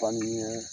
Fani ɲee